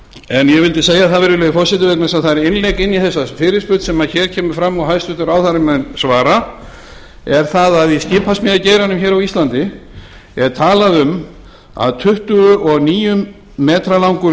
ég vildi segja það virðulegi forseti vegna þess að það er innlegg inn í þessa fyrirspurn sem hér kemur fram og hæstvirtur ráðherra mun svara er það í skipasmíðageiranum hér á íslandi er talað um að tuttugu og níu metra langur